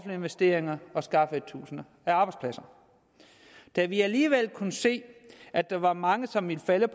investeringer og skaffede tusinder af arbejdspladser da vi alligevel kunne se at der var mange som ville falde